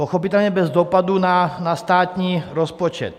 Pochopitelně bez dopadu na státní rozpočet.